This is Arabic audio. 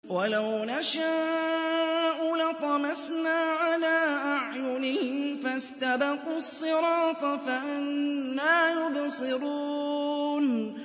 وَلَوْ نَشَاءُ لَطَمَسْنَا عَلَىٰ أَعْيُنِهِمْ فَاسْتَبَقُوا الصِّرَاطَ فَأَنَّىٰ يُبْصِرُونَ